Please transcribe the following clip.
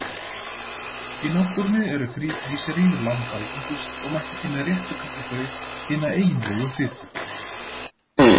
Í náttúrunni eru þríglýseríð langalgengust og mætti því með réttu kalla þau hina eiginlegu fitu.